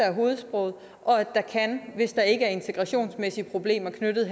er hovedsproget og at der hvis der ikke er integrationsmæssige problemer knyttet